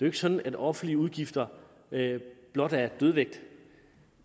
ikke sådan at offentlige udgifter blot er dødvægt